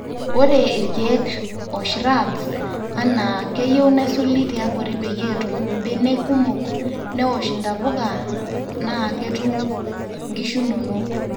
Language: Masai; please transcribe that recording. ore ilkiek o shrubs(anaa )keyieu nesuli tiabori peyie etum mbenek kumok, newosh ntapukanaa keetum nkishu inonok